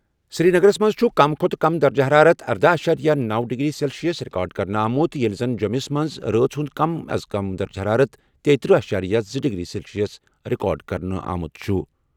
سری نگرَس منٛز چھُ کم درجہ حرارت اردہَ اعشاریہ نوَ ڈگری سیلسیس ریکارڈ کرنہٕ آمُت ییٚلہِ زَن جوٚموٗہَس منٛز رٲژ ہُنٛد کم درجہ حرارت تیٖتٔرہِ اعشاریہ زٕ ڈگری سیلسیس رِکارڈ کرنہٕ آمُت۔